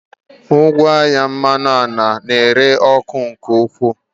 Ngwaahịa mmanụ ala na-ere ọkụ nke ukwuu.